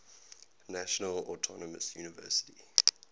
national autonomous university